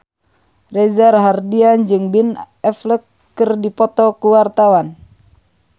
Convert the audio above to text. Reza Rahardian jeung Ben Affleck keur dipoto ku wartawan